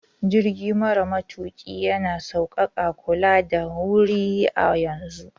Jirgi mara matuƙi yana sauƙaƙa kula da wuri a yanzun.